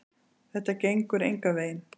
Þetta gengur engan veginn.